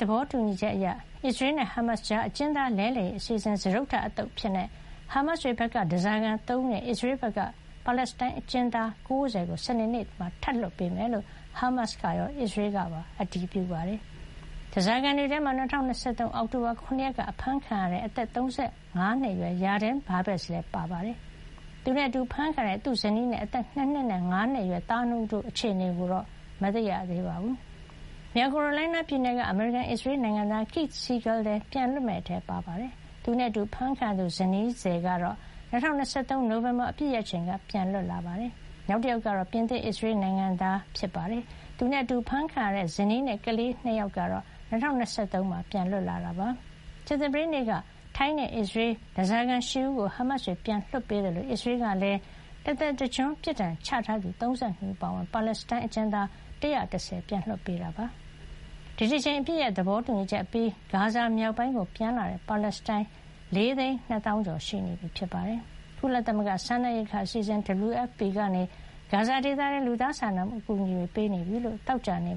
သဘောတူညီချက်အရ အစ္စရေးနဲ့ ဟားမတ်စ်တွေကြား အကျဉ်းသား လဲလှယ်ရေး အစီအစဉ် စတုတ္ထ အသုတ်အဖြစ် ဟားမတ်စ်တွေဘက်က ဓါးစာခံ ၃ ဦးနဲ့ အစ္စရေးဘက်က ပါလက်စတိုင်းအကျဉ်းသား ၉၀ ကို စနေနေ့မှာ ထပ်လွှတ်ပေးမယ်လို့ ဟားမတ်စ်ကရော အစ္စရေးကပါ အတည်ပြုပါတယ်။ ဓါးစာခံတွေထဲမှာ ၂၀၂၃ အောက်တိုဘာ ၇ ရက်က အဖမ်းခံခဲ့ရတဲ့ အသက် ၃၅ နှစ်အရွယ် Yarden Bibas လည်းပါပါတယ်။ သူနဲ့အတူ အဖမ်းခံရတဲ့ သူ့ဇနီးနဲ့ အသက် ၂ နှစ်နဲ့ ၅ နှစ်အရွယ် သား ၂ ဦး တို့ရဲ့ အခြေအနေကိုတော့ မသိရသေးပါဘူး။ မြောက်ကာရိုလိုင်းနား ပြည်နယ်က အမေရိကန်−အစ္စရေး နိုင်ငံသား Keith Siegel လည်း ပြန်လွတ်မယ့်အထဲ ပါဝင်ပြီး သူနဲ့အတူ အဖမ်းခံရသူ ဇနီးသည် Aviva Siegel ကတော့ ၂၀၂၃ နိုဝင်ဘာ အပစ်ရပ်ချိန်က ပြန်လွတ် လာခဲ့တာပါ။ နောက်တယောက်ကတော့ ပြင်သစ်-အစ္စရေး နိုင်ငံသား Ofer Kalderon ဖြစ်ပါတယ်။ သူနဲ့အတူ အဖမ်းခံခဲ့ရတဲ့ ဇနီးနဲ့ ကလေး ၂ ယောက်ကတော့ ၂၀၂၃ မှာ ပြန်လွတ်လာခဲ့ပါတယ်။ ကြာသပတေးနေ့က ထိုင်းနဲ့ အစ္စရေး ဓါးစာခံ ၈ ဦးကို ဟားမတ်စ်တွေက ပြန်လွှတ်ပေးခဲ့သလို အစ္စရေးကလည်း တသက်တကျွန်း ပြစ်ဒဏ်ချထားသူ ၃၂ ဦး အပါအဝင် ပါလက်စတိုင်း အကျဉ်းသား ၁၁၀ ဦးကို ပြန်လွှတ်ပေးခဲ့ပါတယ်။ ဒီတကြိမ် အပစ်ရပ်သဘောတူညီချက်အပြီး ဂါဇာမြောက်ပိုင်းကို ပြန်လာတဲ့ ပါလက်စတိုင်း ၄ သိန်း ၂ သောင်းကျော် ရှိနေပါပြီ။ ကုလသမဂ္ဂ စားနပ်ရိက္ခာအစီအစဉ် WFP ကနေ ဂါဇာဒေသထဲကို လူသားချင်းစာနာမှု အကူအညီ တွေ ပေးနေပြီလို့ သောကြာနေ့